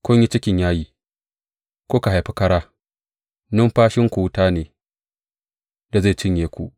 Kun yi cikin yayi, kuka haifi kara; numfashinku wuta ne da zai cinye ku.